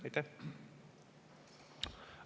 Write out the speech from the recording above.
Aitäh!